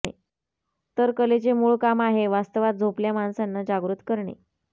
तर कलेचे मूळ काम आहे वास्तवात झोपल्या माणसांना जागृत करणे